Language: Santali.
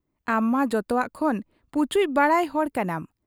ᱟᱢᱢᱟ ᱡᱚᱛᱚᱣᱟᱜ ᱠᱷᱚᱱ ᱯᱩᱪᱩᱡ ᱵᱟᱲᱟᱭ ᱦᱚᱲ ᱠᱟᱱᱟᱢ ᱾